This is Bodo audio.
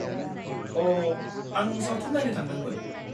-अ' आं सावथुन नायनो थांदोंमोन।